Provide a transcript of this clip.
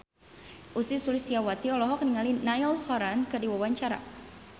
Ussy Sulistyawati olohok ningali Niall Horran keur diwawancara